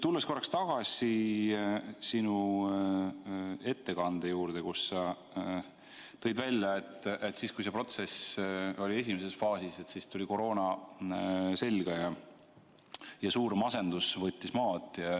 Tulen korraks tagasi sinu ettekande juurde, kus sa tõid välja, et siis, kui see protsess oli esimeses faasis, tuli koroona selga ja suur masendus võttis maad.